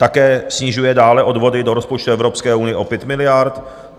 Také snižuje dále odvody do rozpočtu Evropské unie o 5 miliard.